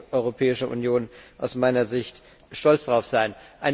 Darauf kann die Europäische Union aus meiner Sicht stolz sein.